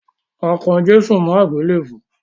A kan Jésù mọ́ àgbélèbú.